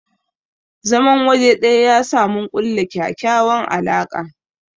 zaman waje ɗaya yasa mun kulla ƙyaƙyawan alaka.